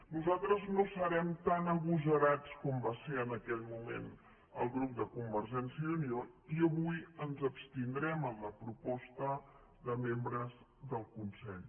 nosaltres no serem tan agosarats com va ser en aquell moment el grup de convergència i unió i avui ens abstindrem en la proposta de membres del consell